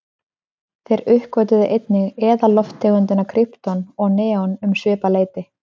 Þeir uppgötvuðu einnig eðallofttegundirnar krypton og neon um svipað leyti.